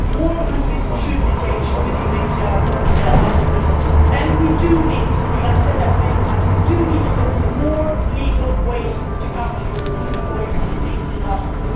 More countries should engage with the UNHCR on resettlement and we do need I have said that many times we do need to open more legal ways of coming to Europe, to avoid these disasters.